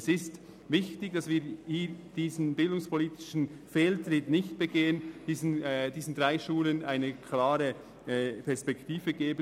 Es ist wichtig, dass wir diesen bildungspolitischen Fehltritt nicht begehen und stattdessen den drei Hochschulen eine klare Perspektive geben.